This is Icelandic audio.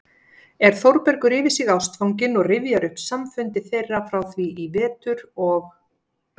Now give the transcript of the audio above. er Þórbergur yfir sig ástfanginn og rifjar upp samfundi þeirra frá því í vetur og